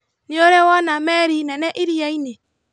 Nĩũrĩ wona meri nene iriainĩ?